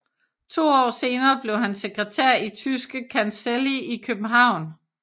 To år senere blev han sekretær i Tyske Kancelli i København